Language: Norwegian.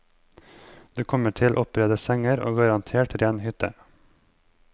Du kommer til oppredde senger, og garantert ren hytte.